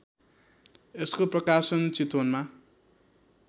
यसको प्रकाशन चितवनमा